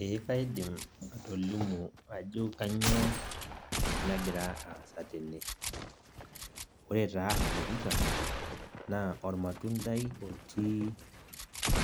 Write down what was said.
Ee kaidim atolimu ajo kanyioo nagira aasa tene. Ore taa adolita, naa ormatuntai otii